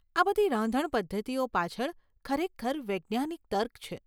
આ બધી રાંધણ પદ્ધતિઓ પાછળ ખરેખર વૈજ્ઞાનિક તર્ક છે.